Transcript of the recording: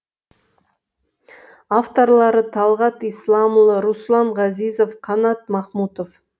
авторлары талғат исламұлы руслан ғазизов қанат махмұтов